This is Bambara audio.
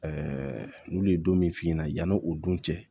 n'u ye don min f'i ɲɛna yani o don cɛ